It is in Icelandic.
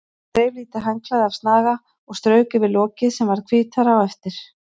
Hún þreif lítið handklæði af snaga og strauk yfir lokið sem varð hvítara á eftir.